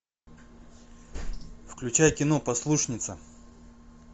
включай кино послушница